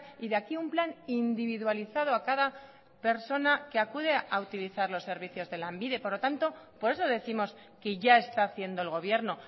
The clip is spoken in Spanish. y de aquí un plan individualizado a cada persona que acude a utilizar los servicios de lanbide por lo tanto por eso décimos que ya está haciendo el gobierno